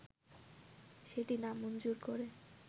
সেটি নামঞ্জুর করে